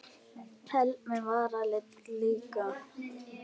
Helst með varalit líka.